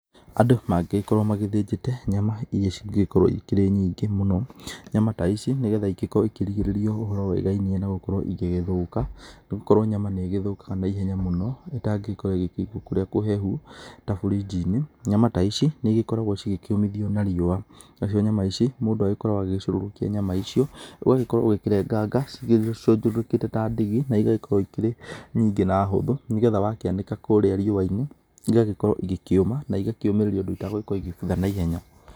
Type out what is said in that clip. Andũ mangĩgĩkorwo magĩthĩnjĩte nyama iria cingĩgĩkorwo ikĩrĩ nyingĩ mũno, nyama ta ici nĩgetha ikĩrigĩrĩrio na ũhoro wĩgainie na gũkorwo igĩgĩthũka, nĩ gũkorwo nyama nĩ ĩgĩthũkaga na ihenya mũno ĩtangĩgĩkorwo ĩgĩkĩigwo kũrĩa kũhehu, ta buriji-inĩ, nyama ta ici nĩ igĩkoragwo cigĩkĩũmithio na riũa, nacio nyama ici, mũndũ agĩkoragwo agĩcurũrũkia nyama icio ũgagĩkorwo ũgĩkĩrenganga cigĩcunjũrũrũkĩte ta ndigi na igagĩkorwo ikĩrĩ nyingĩ na hũthũ nĩgetha wakĩanĩka kũrĩa riũa-inĩ, igagĩkorwo igĩkĩũma na igakĩũmĩrĩria ũndũ itagũgĩkorwo igĩgĩthũka na ihenya.